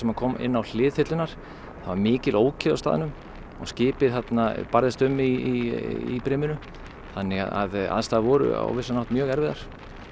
hann kom inn á hlið þyrlunnar það var mikil ókyrrð á staðnum og skipið barðist um í briminu þannig að aðstæður voru á vissan hátt mjög erfiðar